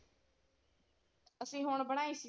ਅਸੀਂ ਹੁਣ ਬਣਾਈ ਸੀ।